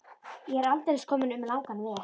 Ég er aldeilis kominn um langan veg.